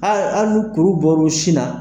A Ali ni kuru bɔr'u sin na.